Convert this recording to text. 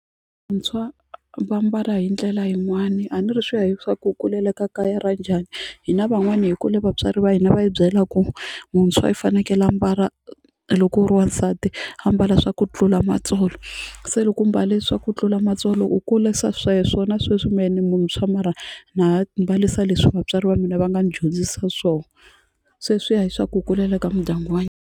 va mbala hi ndlela yin'wani a ni ri swi ya hi swa ku u kulele ka kaya ra njhani hina van'wana hi kwale vatswari va hina va hi byela ku muntshwa i fanekele a ambala loko u ri wansati a ambala swa xa ku tlula matsolo se loko u mbale swa ku tlula matsolo u kulisa sweswo na sweswi mehe ni munthswa mara na ha mbalisa leswi vatswari va mina va nga ni dyondzisa swona se swiya hi swa u kulele ka mindyangu wa .